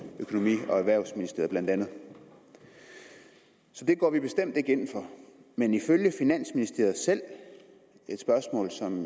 økonomi og erhvervsministeriet så det går vi bestemt ikke ind for men ifølge finansministeriet selv et spørgsmål som